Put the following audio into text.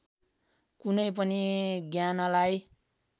कुनै पनि ज्ञानलाई